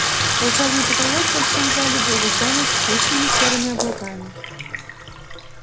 волшебный потолок в большом зале был затянут скучными серыми облаками